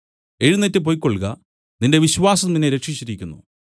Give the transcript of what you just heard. എഴുന്നേറ്റ് പൊയ്ക്കൊൾക നിന്റെ വിശ്വാസം നിന്നെ രക്ഷിച്ചിരിക്കുന്നു